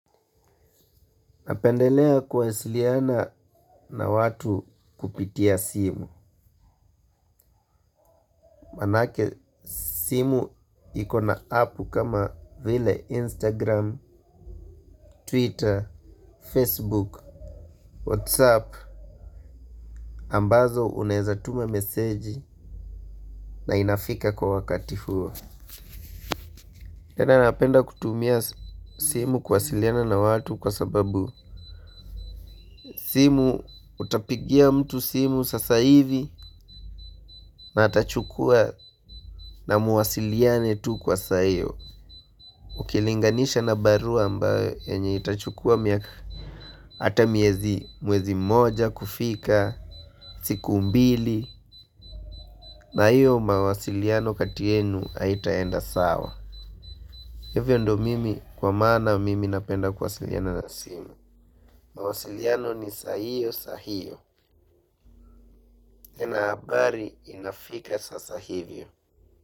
Napendelea kuwasiliana na watu kupitia simu. Maanake simu iko na apu kama vile Instagram, Twitter, Facebook, WhatsApp. Ambazo unaeza tuma meseji na inafika kwa wakati huo. Tena napenda kutumia simu kuwasiliana na watu kwa sababu. Simu utapigia mtu simu sasa ivi na atachukua na muwasiliane tu kwa saa io. Ukilinganisha na barua ambao yenye itachukua miaka hata miezi mwezi mmoja kufika, siku mbili. Na hiyo mawasiliano kati yenu haitaenda sawa. Hivyo ndo mimi kwa maana mimi napenda kuwasiliana na simu. Mawasiliano ni saa iyo saa hiyo na habari inafika sasa hivyo.